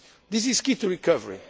global stage. This is key